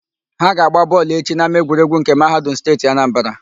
Ha ga-agba bọọlụ echi n'ámáegwuregwu nke Mahadum Steeti Anambara.